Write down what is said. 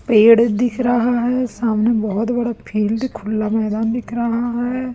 पेड़ दिख रहा है सामने बहोत बड़ा फील्ड खुला मैदान दिख रहा है।